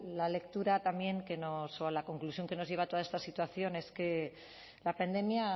la lectura también que nos o a la conclusión que nos lleva toda esta situación es que la pandemia